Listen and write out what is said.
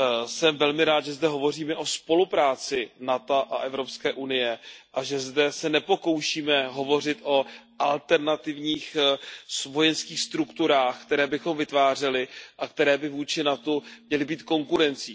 Jsem velmi rád, že zde hovoříme o spolupráci NATO a EU a že zde se nepokoušíme hovořit o alternativních vojenských strukturách, které bychom vytvářeli a které by vůči NATO měly být konkurencí.